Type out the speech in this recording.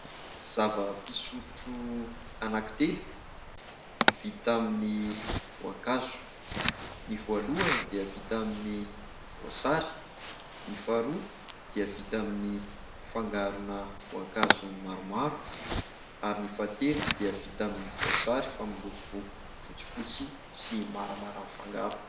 Zava-pisotro anankitelo vita amin'ny voankazo : ny voalohany dia vita amin'ny voasary, ny faharoa dia vita amin'ny fangarona voankazo maromaro ary ny fahatelo dia vita amin'ny voasary fa miloko fotsifotsy sy maramara mifangaro.